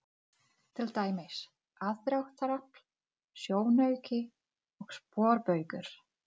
Fer hún ekki að koma í heimsókn?